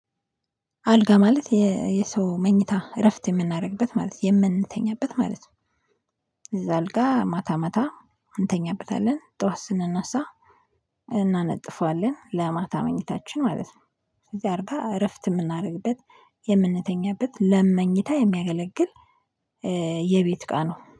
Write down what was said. አልጋ ማለት የሰው መኝታ እረፍት የምናደርግበት ማለት የምንተኛበት ማለት ነው። እዛ አልጋ ማታ ማታ እንተኛበታለን፣ ጠዋት ስናነሳ እናነጥፋለን ለማታ መኝታችን ማለት ነው፣ ስለዚህ አርጋ እረፍት የምናደርግበት የምንተኛበት ለመኝታ የሚያገለግል የቤት እቃ ነው።